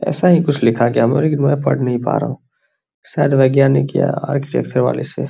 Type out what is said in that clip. ऐसा ही कुछ लिखा गया की मै पढ़ नहीं पढ़ पा रहा हूं शायद वैज्ञानिक या आर्ट वाले से --